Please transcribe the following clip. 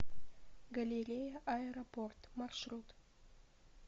галерея аэропорт маршрут